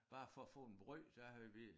Bare for at få en brød der havde vi